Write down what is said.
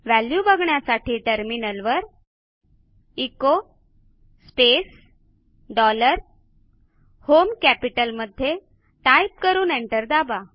value बघण्यासाठी टर्मिनलवर echo space dollar home कॅपिटलमध्ये टाईप करून एंटर दाबा